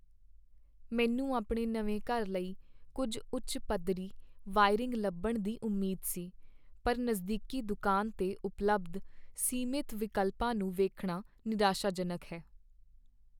ਮੈਨੂੰ ਆਪਣੇ ਨਵੇਂ ਘਰ ਲਈ ਕੁੱਝ ਉੱਚ ਪੱਧਰੀ ਵਾਇਰਿੰਗ ਲੱਭਣ ਦੀ ਉਮੀਦ ਸੀ, ਪਰ ਨਜ਼ਦੀਕੀ ਦੁਕਾਨ 'ਤੇ ਉਪਲਬਧ ਸੀਮਤ ਵਿਕਲਪਾਂ ਨੂੰ ਵੇਖਣਾ ਨਿਰਾਸ਼ਾਜਨਕ ਹੈ।